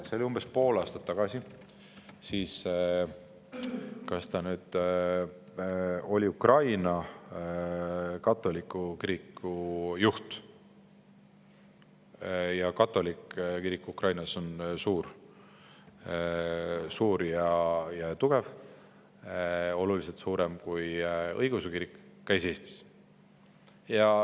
See oli umbes pool aastat tagasi, kui vist Ukraina katoliku kiriku juht – muide, katoliku kirik Ukrainas on suur ja tugev, oluliselt suurem kui sealne õigeusu kirik –, käis Eestis.